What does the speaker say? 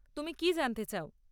তুমি কী জানতে চাও?